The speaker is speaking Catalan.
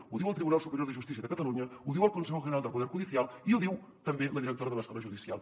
ho diu el tribunal superior de justícia de catalunya ho diu el consejo general del poder judicial i ho diu també la directora de l’escola judicial